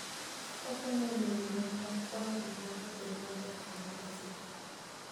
Okonyo e miyo yore mag kwang'o gik moko obed maber kendo masiko.